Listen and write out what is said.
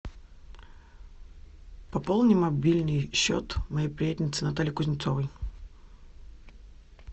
пополни мобильный счет моей приятельницы натальи кузнецовой